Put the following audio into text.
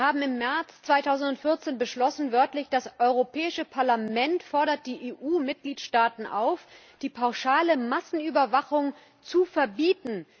Wir haben wörtlich im März 2014 beschlossen Das Europäische Parlament fordert die EU Mitgliedstaaten auf, die pauschale Massenüberwachung zu verbieten.